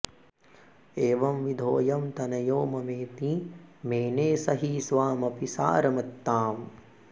एवंविधोऽयं तनयो ममेति मेने स हि स्वामपि सारमत्ताम्